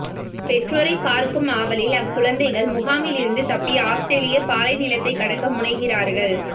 பெற்றோரைப் பார்க்கும் ஆவலில் அக்குழந்தைகள் முகாமிலிருந்து தப்பி ஆஸ்திரேலிய பாலை நிலத்தை கடக்க முனைகிறார்கள்